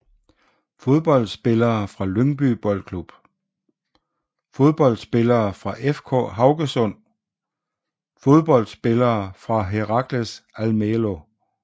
Fodboldspillere fra Lyngby Boldklub Fodboldspillere fra FK Haugesund Fodboldspillere fra Heracles Almelo